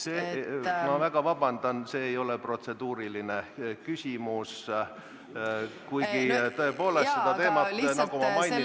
Ma palun väga vabandust, see ei ole protseduuriline küsimus, kuigi me tõepoolest seda teemat, nagu ma mainisin, arutasime.